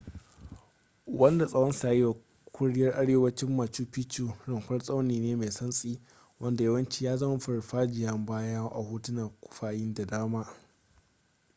wanda tsawonsa ya yi wa ƙuryar arewacin machu picchu rumfa tsauni ne mai santsi wanda yawanci ya zama farfajiyar baya a hotunan kufayin da dama